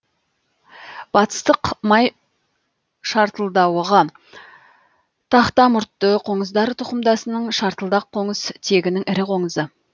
батыстық май шартылдауығы тақтамұртты қоңыздар тұқымдасының шартылдақ қоңыз тегінің ірі қоңызы